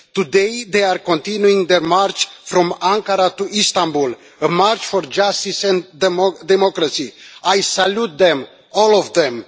Today they are continuing their march from Ankara to Istanbul, a march for justice and democracy. I salute them, all of them.